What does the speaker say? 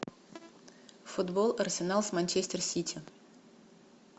футбол арсенал с манчестер сити